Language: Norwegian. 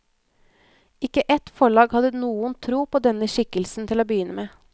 Ikke ett forlag hadde noen tro på denne skikkelsen til å begynne med.